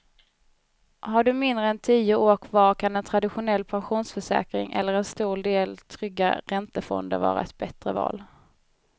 Har du mindre än tio år kvar kan en traditionell pensionsförsäkring eller en stor del trygga räntefonder vara ett bättre val.